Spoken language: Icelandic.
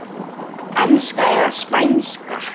Enska eða Spænska?